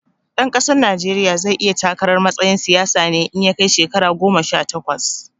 Ɗan ƙasar Najeriya zai iya takarar matsayin siyasa ne in ya kai shekara goma sha takwas